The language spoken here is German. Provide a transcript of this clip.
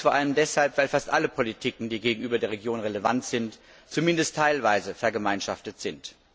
Dies vor allem deshalb, weil fast alle Politikbereiche, die gegenüber der Region relevant sind, zumindest teilweise vergemeinschaftet sind.